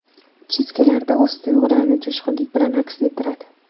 Chizgilarda o‘z tuyg‘ularini jo‘shqinlik bilan aks ettiradi.